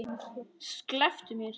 Slepptu mér!